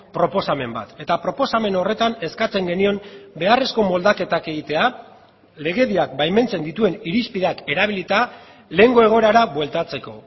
proposamen bat eta proposamen horretan eskatzen genion beharrezko moldaketak egitea legediak baimentzen dituen irizpideak erabilita lehengo egoerara bueltatzeko